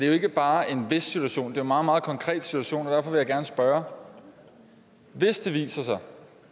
jo ikke bare en vis situation jo meget meget konkret situation og derfor vil jeg gerne spørge hvis det viser sig